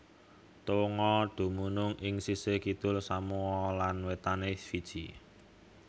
Tonga dumunung ing sisih kidul Samoa lan wétané Fiji